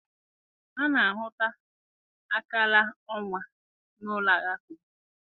A na-ahụta akara ọnwa n'ụlọ Alakụba.